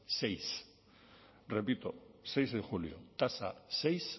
seis repito seis de julio tasa seis